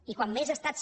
i quan més estats